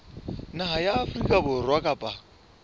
naha ya afrika borwa kapa